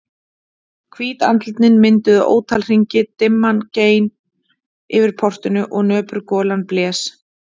Hvít andlitin mynduðu ótal hringi, dimman gein yfir portinu og nöpur golan blés.